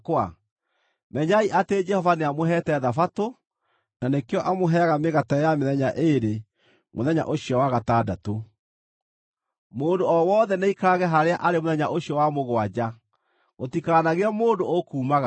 Menyai atĩ Jehova nĩamũheete Thabatũ; na nĩkĩo amũheaga mĩgate ya mĩthenya ĩĩrĩ mũthenya ũcio wa gatandatũ. Mũndũ o wothe nĩaikarage harĩa arĩ mũthenya ũcio wa mũgwanja; gũtikanagĩe mũndũ ũkumagara.”